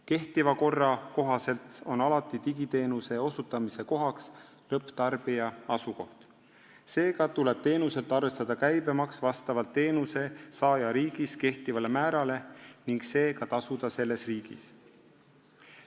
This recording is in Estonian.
Kehtiva korra kohaselt on digiteenuse osutamise kohaks alati lõpptarbija asukoht, seega tuleb teenuselt käibemaks arvestada vastavalt teenusesaaja riigis kehtivale määrale ning see ka tasuda selles riigis.